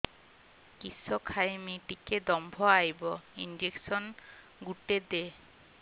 କିସ ଖାଇମି ଟିକେ ଦମ୍ଭ ଆଇବ ଇଞ୍ଜେକସନ ଗୁଟେ ଦେ